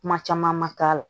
Kuma caman ma k'a la